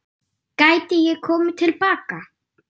Gæti ég komið til baka?